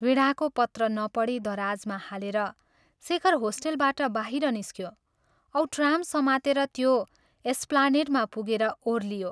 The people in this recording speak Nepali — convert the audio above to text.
वीणाको पत्र नपढी दराजमा हालेर, शेखर होस्टेलबाट बाहिर निस्क्यो औ ट्राम समातेर त्यो एस्प्लानेड्मा पुगेर ओरलियो।